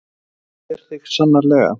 Það sér þig sannarlega.